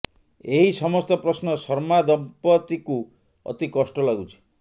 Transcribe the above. ଏହି ସମସ୍ତ ପ୍ରଶ୍ନ ଶର୍ମା ଦମ୍ପତିଙ୍କୁ ଅତି କଷ୍ଟ ଲାଗୁଛି